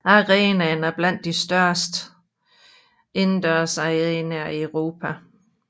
Arenaen er blandt de største indendørsarenaer i Europa